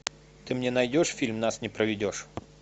ты мне найдешь фильм нас не проведешь